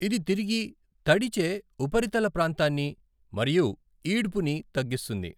ఇది తిరిగి, తడిచే ఉపరితల ప్రాంతాన్ని, మరియు ఈడ్పుని తగిస్తుంది.